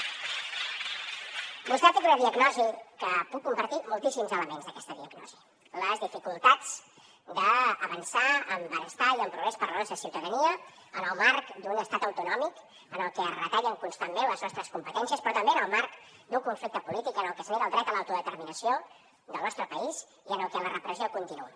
vostè ha fet una diagnosi que puc compartir moltíssims elements d’aquesta diagnosi les dificultats d’avançar en benestar i en progrés per a la nostra ciutadania en el marc d’un estat autonòmic en el que es retallen constantment les nostres competències però també en el marc d’un conflicte polític en el que es nega el dret a l’autodeterminació del nostre país i en el que la repressió continua